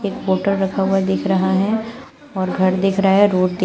एक बोटल रखा हुआ दिख रहा है और घर दिख रहा है रोड दिख--